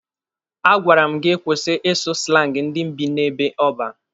A gwara m gị kwụsị ịsụ slangi ndị bi n'ebe ọban!